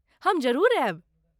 हम जरूर आयब।